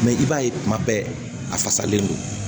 i b'a ye kuma bɛɛ a fasalen don